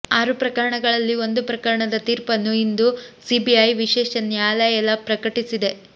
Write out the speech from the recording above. ಆರು ಪ್ರಕರಣಗಳಲ್ಲಿ ಒಂದು ಪ್ರಕರಣದ ತೀರ್ಪನ್ನು ಇಂದು ಸಿಬಿಐ ವಿಶೇಷ ನ್ಯಾಯಾಲಯ ಪ್ರಕಟಿಸಲಿದೆ